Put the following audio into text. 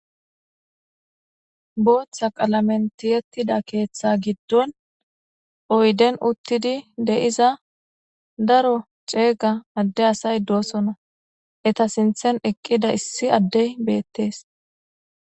Bootha qalamen tiyetida keetha giddon oydden uttidi de'iza daro ceega adde asay doosona. Eeta sinthen eqqida issi adde asay beetees.